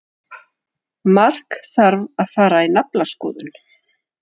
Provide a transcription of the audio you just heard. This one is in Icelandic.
Mark þarf að fara í naflaskoðun.